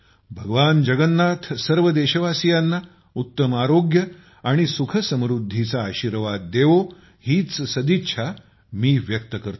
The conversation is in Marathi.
भगवान जगन्नाथ सर्व देशवासियांना उत्तम आरोग्य आणि सुखसमुद्धीचा आशीर्वाद देवो हीच सदिच्छा मी व्यक्त करतो